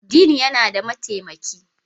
Dean yana da mataimaki